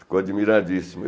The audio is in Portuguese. Ficou admiradíssimo.